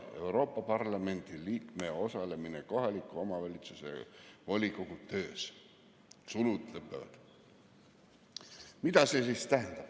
Mida see siis tähendab?